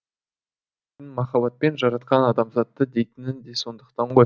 махаббатпен жаратқан адамзатты дейтіні де сондықтан ғой